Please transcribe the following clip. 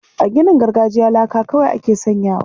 A ginin gargajiya laka kawai ake sanyawa.